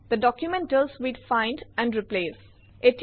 the document deals with find and replace